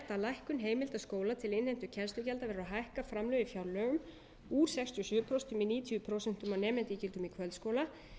lækkun heimilda skóla til innheimtu kennslugjalda verður að hækka framlög í fjárlögum úr sextíu og sjö prósent í níutíu prósent af nemendaígildum í kvöldskóla